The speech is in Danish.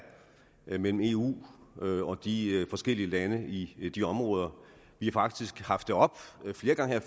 imellem eu og de forskellige lande i i de områder vi har faktisk haft det oppe flere gange her